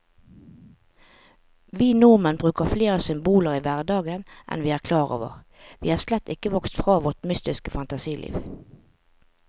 Vi nordmenn bruker flere symboler i hverdagen enn vi er klar over, vi er slett ikke vokst fra vårt mytiske fantasiliv.